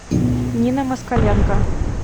нина москаленко